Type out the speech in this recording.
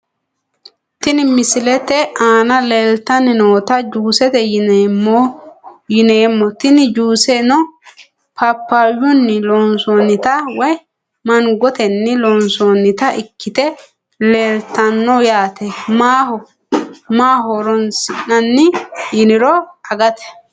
Tini misilete aana leltani noota juusete yineemo tene juuseno papayuni loonsonita woyi mangaoteni loonsoonita ikite leeltano yaate maaho horonsinani yiniro agate.